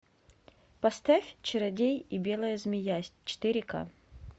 поставь чародей и белая змея четыре к